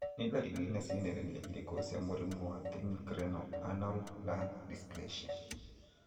Nĩ ndariri na cionereria irĩkũ cia mũrimũ wa Thymic Renal Anal Lung dysplasia?